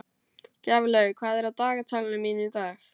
Gjaflaug, hvað er á dagatalinu mínu í dag?